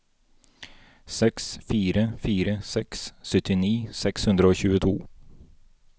seks fire fire seks syttini seks hundre og tjueto